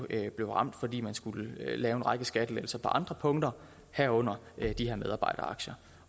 begge blev ramt fordi man skulle lave en række skattelettelser på andre punkter herunder de her medarbejderaktier